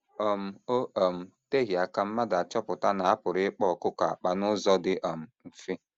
um O um teghị aka mmadụ achọpụta na a pụrụ ịkpa ọkụkọ akpa n’ụzọ dị um mfe.